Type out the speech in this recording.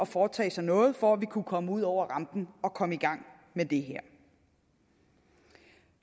foretage sig noget for at vi kunne komme ud over rampen og komme i gang med det her